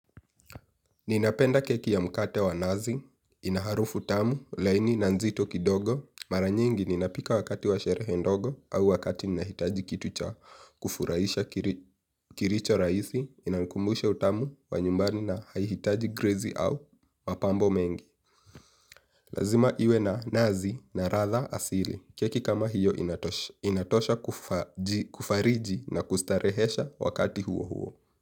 Ninapenda keki ya mkate wa nazi, ina harufu tamu, laini na nzito kidogo, mara nyingi ninapika wakati wa sherehe ndogo au wakati ninahitaji kitu cha kufurahisha kilicho rahisi, inankumbushe utamu wa nyumbani na haihitaji grezi au mapambo mengi. Lazima iwe na nazi na ladha asili. Keki kama hiyo inatosha kufariji na kustarehesha wakati huo huo.